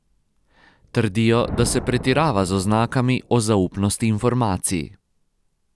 Trdijo, da se pretirava z oznakami o zaupnosti informacij.